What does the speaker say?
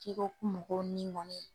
Jɛgɛw kumu dɔɔni ni